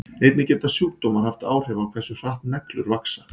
Einnig geta sjúkdómar haft áhrif á hversu hratt neglur vaxa.